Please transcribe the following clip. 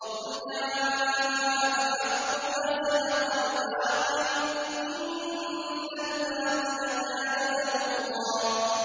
وَقُلْ جَاءَ الْحَقُّ وَزَهَقَ الْبَاطِلُ ۚ إِنَّ الْبَاطِلَ كَانَ زَهُوقًا